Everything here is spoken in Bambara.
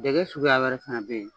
Dɛgɛ suguya wɛrɛ fana bɛ yen.